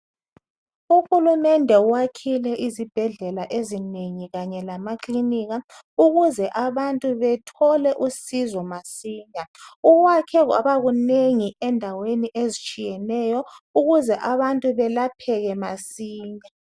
Uhulumende wakhile izibhedlela ezinengi kanye lamaklinika ukuze abantu bethole usizo masinya. Ukwakhe kwabakunengi endaweni ezitshiyeneyo ukuze abantu belapheke masinya.